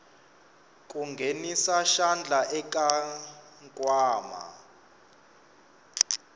ku nghenisa xandla eka nkwama